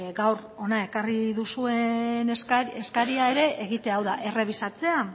gaur hona ekarri duzuen eskaria ere egitea hau da errebisatzea